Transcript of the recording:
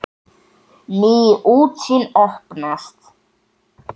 Ný útsýn opnast.